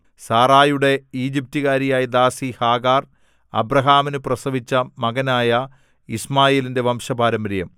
സാറായുടെ ഈജിപ്റ്റുകാരിയായ ദാസി ഹാഗാർ അബ്രാഹാമിനു പ്രസവിച്ച മകനായ യിശ്മായേലിന്റെ വംശപാരമ്പര്യം